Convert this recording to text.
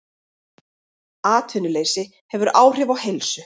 Atvinnuleysi hefur áhrif á heilsu